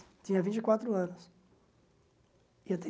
Tinha vinte e quatro anos e até